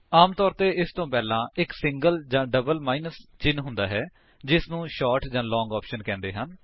ਆਮ ਤੌਰ ਇਸ ਤੋਂ ਪਹਿਲਾਂ ਇੱਕ ਸਿੰਗਲ ਜਾਂ ਡਬਲ ਮਾਇਨਸ ਚਿੰਨ੍ਹ ਹੁੰਦਾ ਹੈ ਜਿਸਨੂੰ ਸ਼ੋਰਟ ਜਾਂ ਲਾਂਗ ਆਪਸ਼ਨ ਕਹਿੰਦੇ ਹਨ